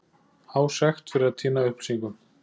Há sekt fyrir að týna upplýsingum